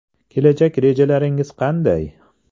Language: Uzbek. Kelajak rejalaringiz qanday?